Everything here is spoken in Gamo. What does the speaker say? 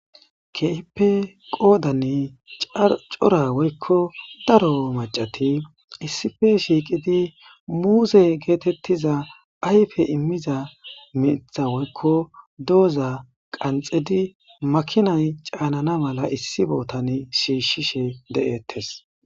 Keehipe cora woyko daro maccasati issippe shiiqidi muuze geetetiza ayfe immiza miththa woyko dooza makinay caanana mala issi bolla shiishishe deetes.